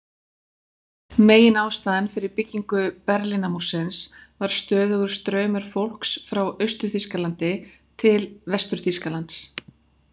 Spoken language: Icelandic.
Meginástæðan fyrir byggingu Berlínarmúrsins var stöðugur straumur fólks frá Austur-Þýskalandi til Vestur-Þýskalands.